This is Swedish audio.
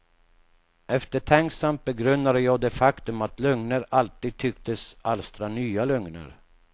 Eftertänksamt begrundade jag det faktum att lögner alltid tycktes alstra nya lögner.